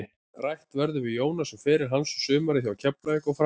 Rætt verður við Jónas um feril hans, sumarið hjá Keflavík og framhaldið.